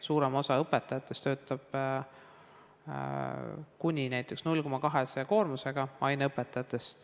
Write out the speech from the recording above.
Suurem osa aineõpetajatest töötab näiteks kuni 0,2 koormusega.